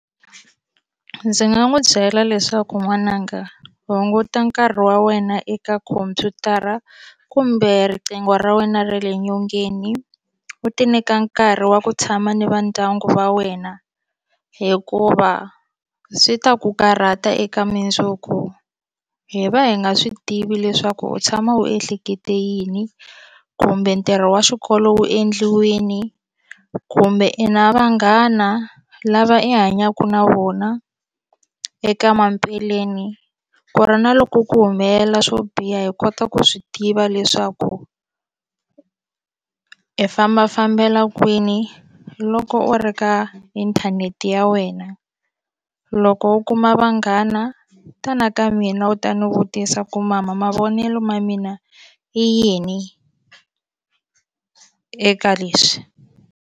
Ndzi nga n'wi byela leswaku n'wananga hunguta nkarhi wa wena eka khomphyutara kumbe riqingho ra wena ra le nyongeni u ti nyika nkarhi wa ku tshama ni vandyangu va wena hikuva swi ta ku karhata eka mundzuku hi va hi nga swi tivi leswaku u tshama u ehlekete yini kumbe ntirho wa xikolo wu endliwini kumbe i na vanghana lava i hanyaka na vona eka ku ra na loko ku humelela swo biha hi kota ku swi tiva leswaku i famba fambela kwini loko u ri ka inthanete ya wena loko u kuma vanghana tana ka mina u ta ni vutisa ku mama mavonelo ma mina i yini eka leswi.